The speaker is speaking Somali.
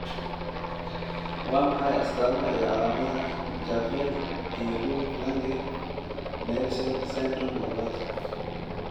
Waa maxay astamaha iyo calaamadaha Jervell iyo Lange Nielsen syndrome labaad?